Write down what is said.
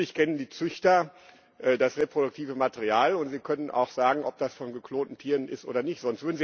Natürlich kennen die Züchter das reproduktive Material und sie können auch sagen, ob das von geklonten Tieren ist oder nicht.